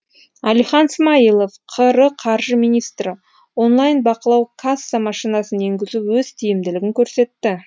әлихан смайылов қр қаржы министрі онлайн бақылау касса машинасын енгізу өз тиімділігін көрсетті